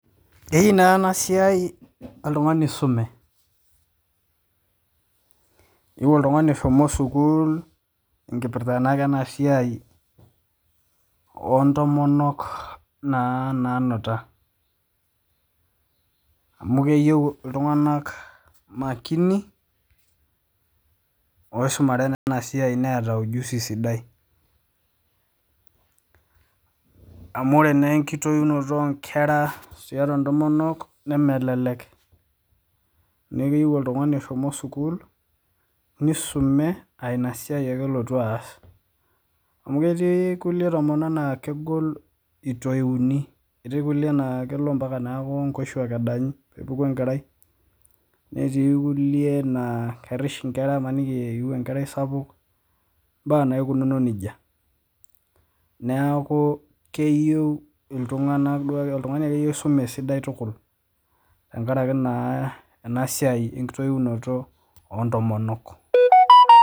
Eyieu na enasiai oltungani oisume, eyieu oltungani oshomo sukul, enkipirta na enasiai ontomonok na nanuta amu keyieu ltunganak makini osimuare enasiai neeta sidai qmu ore na enkitoinoto onkore tontomonok nemelelek, neaku keyieu oltungani oshomo sukul nisume, ainasiai ake elotu aas, amu ketii irkulie tomonok na kegol itoini, etii nkulie naa neaku nkoshuak edanyi pepuku enkerai netii nkulie nakerish nkera imanike eiu enkerai sapuk ,mbaa naikunono nejia, neaku keyieu ltunganak oltungani akeyie oisume tukul enasiai ontoinoto ontomonok.